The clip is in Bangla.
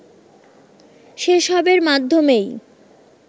সে সবের মাধ্যমেই